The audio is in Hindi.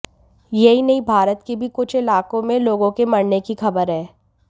यही नहीं भारत के भी कुछ इलाकों में लोगों के मरने की खबर है